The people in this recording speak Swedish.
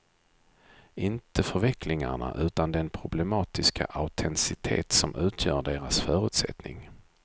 Inte förvecklingarna utan den problematiska autenticitet som utgör deras förutsättning.